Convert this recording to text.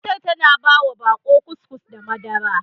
Matar ta ba wa baƙo kukis da madara.